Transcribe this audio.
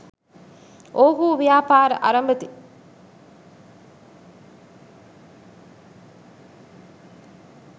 ඔවුහු ව්‍යාපාර අරඹති.